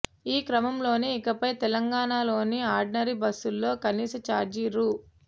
ఈ క్రమంలోనే ఇకపై తెలంగాణలోని ఆర్డినరీ బస్సుల్లో కనీస ఛార్జీ రూ